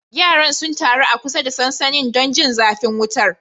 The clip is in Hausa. Yaran sun taru a kusa da sansanin don jin zafin wutar.